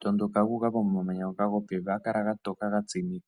tondoka gu uka pomamanya ngoka go pevi. Oha ga kala ga toka ga tsima.